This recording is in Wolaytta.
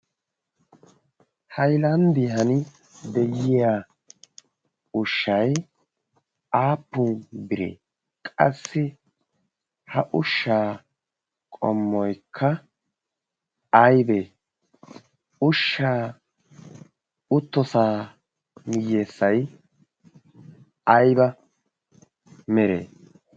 haylanddiyhan de'iya ushshai aapun biree qassi ha ushshaa qommoykka aybee ushshaa uttosaa miyyessay ayba mere?